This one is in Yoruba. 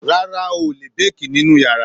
Rárá, o ò lè béèkì nínú yàrá.